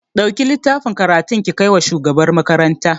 Ɗauki littafin karatun ki kai wa shugabar makaranta